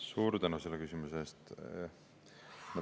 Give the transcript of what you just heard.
Suur tänu selle küsimuse eest!